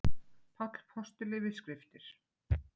Páll postuli við skriftir.